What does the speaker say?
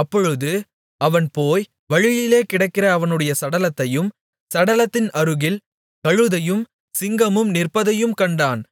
அப்பொழுது அவன் போய் வழியிலே கிடக்கிற அவனுடைய சடலத்தையும் சடலத்தின் அருகில் கழுதையும் சிங்கமும் நிற்பதையும் கண்டான்